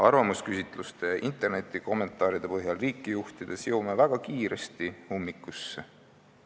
Arvamusküsitluste ja internetikommentaaride põhjal riiki juhtides jõuame väga kiiresti ummikusse.